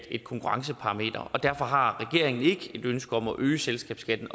et konkurrenceparameter derfor har regeringen ikke et ønske om at øge selskabsskatten